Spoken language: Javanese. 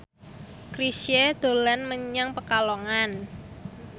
Chrisye dolan menyang Pekalongan